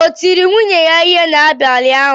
O tiri nwunye ya ihe n'abalị ụnyaahụ?